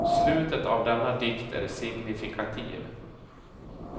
Slutet av denna dikt är signifikativ.